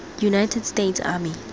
united states army